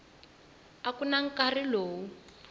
a ku na nkarhi lowu